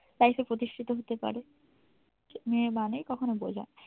life এ প্রতিষ্ঠিত হতে পাড়ে। মেয়ে মানেই কখনো বোঝা